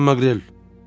Cənab Maqrel.